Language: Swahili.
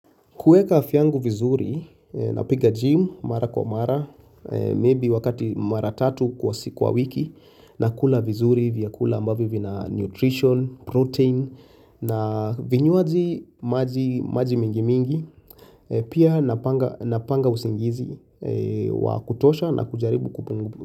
Kueka afya yangu vizuri napiga gym mara kwa mara, maybe wakati mara tatu kwa siku kwa wiki nakula vizuri vyakula ambavyo vina nutrition, protein na vinywaji maji maji mingi mingi, pia napanga usingizi wa kutosha na kujaribu kupungu.